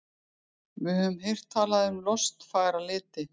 Við höfum heyrt talað um lostfagra liti.